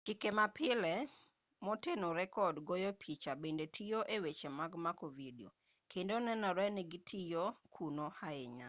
chike mapile motenore kod goyo picha bende tiyo e weche mag mako vidio kendo nenore ni gitiyo kuno ahinya